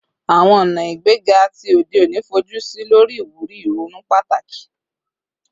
Awọn ọna igbega ti ode oni fojusi lori iwuri ironu pataki